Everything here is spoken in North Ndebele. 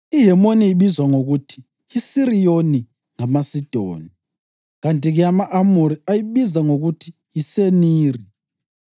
(IHemoni ibizwa ngokuthi yiSiriyoni ngamaSidoni, kanti-ke ama-Amori ayibiza ngokuthi yiSeniri.)